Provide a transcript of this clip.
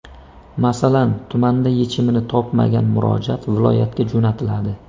Masalan, tumanda yechimini topmagan murojaat viloyatga jo‘natiladi.